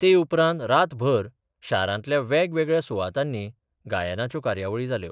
ते उपरांत रातभर शारांतल्या वेगवेगळ्या सुवातांनी गायनाच्यो कार्यावळी जाल्यो.